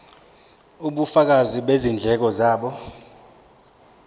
ubufakazi bezindleko zabo